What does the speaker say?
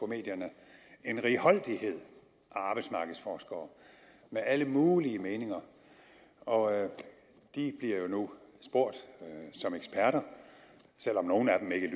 medierne en righoldighed af arbejdsmarkedsforskere med alle mulige meninger og de bliver jo nu spurgt som eksperter selv om nogle af dem ikke